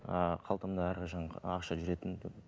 ыыы қалтамда әрқашан ақша жүретін